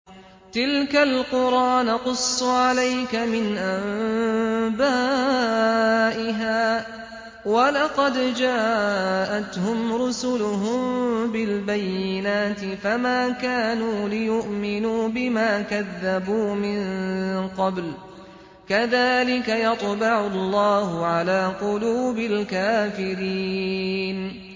تِلْكَ الْقُرَىٰ نَقُصُّ عَلَيْكَ مِنْ أَنبَائِهَا ۚ وَلَقَدْ جَاءَتْهُمْ رُسُلُهُم بِالْبَيِّنَاتِ فَمَا كَانُوا لِيُؤْمِنُوا بِمَا كَذَّبُوا مِن قَبْلُ ۚ كَذَٰلِكَ يَطْبَعُ اللَّهُ عَلَىٰ قُلُوبِ الْكَافِرِينَ